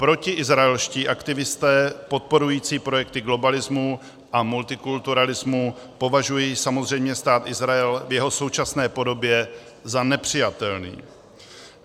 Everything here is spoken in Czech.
Protiizraelští aktivisté podporující projekty globalismu a multikulturalismu považují samozřejmě Stát Izrael v jeho současné podobě za nepřijatelný.